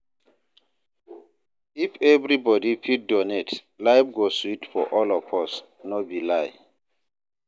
If everybody fit donate, life go sweet for all of us, no be lie.